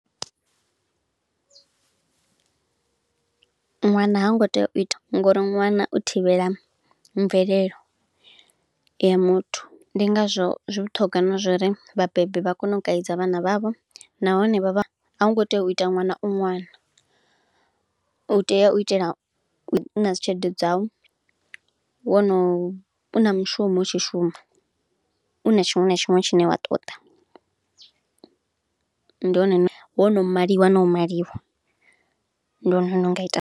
Ṅwana ha ngo tea u ita, ngo uri ṅwana u thivhela mvelelo ya muthu, ndi ngazwo zwi vhuṱhogwa na zwo uri vhabebi vha kone u kaidza vhana vha vho. Nahone vha vha, a u ngo tea u ita ṅwana u ṅwana, u tea u itela u na dzi tshelede dza u, wo no u na mushumo u tshi shuma, u na tshiṅwe na tshiṅwe tshine wa ṱoḓa. Ndi hone, wo no maliwa na u maliwa, ndi hone hune u nga ita.